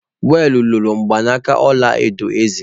Wal loro mgbanaka ọla edo eze